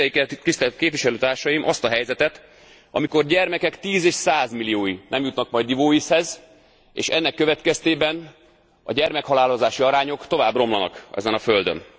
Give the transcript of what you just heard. Képzeljék el, tisztelt képviselőtársaim, azt a helyzetet, amikor gyermekek tíz és százmilliói nem jutnak majd ivóvízhez, és ennek következtében a gyermekhalálozási arányok tovább romlanak ezen a földön.